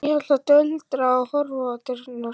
Amma hélt áfram að tuldra og horfa á dyrnar.